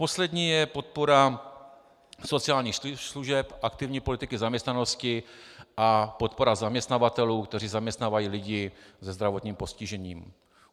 Poslední je podpora sociálních služeb, aktivní politiky zaměstnanosti a podpora zaměstnavatelů, kteří zaměstnávají lidi se zdravotním postižením.